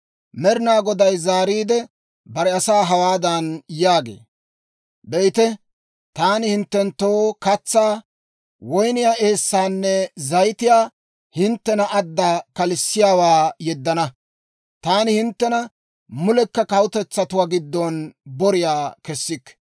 Med'inaa Goday zaariide bare asaa hawaadan yaagee; «Be'ite, taani hinttenttoo katsaa, woyniyaa eessaanne zayitiyaa hinttena adda kalissiyaawaa yeddana; taani hinttena mulekka kawutetsatuwaa giddon boriyaa kessikke.